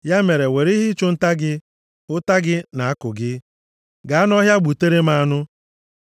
Ya mere, were ihe ịchụ nta gị, ụta gị na àkụ gị, gaa nʼọhịa, gbutere m anụ.